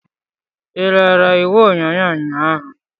Ị lere igwe onyonyo ụnyahụ?